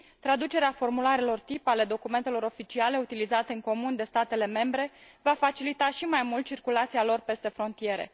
Traducerea formularelor tip, a documentelor oficiale utilizate în comun de statele membre, va facilita și mai mult circulația lor peste frontiere.